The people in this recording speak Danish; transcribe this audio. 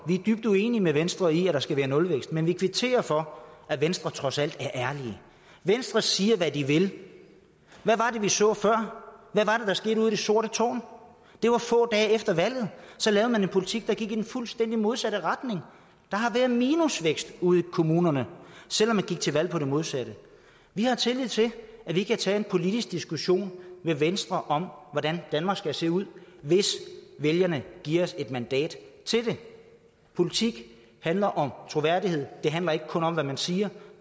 vi er dybt uenig med venstre i at der skal være nulvækst men dansk folkeparti kvitterer for at venstre trods alt er ærlig venstre siger hvad de vil hvad var det vi så før hvad var det der skete ude i det sorte tårn det var få dage efter valget så lavede man en politik der gik i den fuldstændig modsatte retning der har været minusvækst ude i kommunerne selv om man gik til valg på det modsatte vi har tillid til at vi kan tage en politisk diskussion med venstre om hvordan danmark skal se ud hvis vælgerne giver os et mandat til det politik handler om troværdighed det handler ikke kun om hvad man siger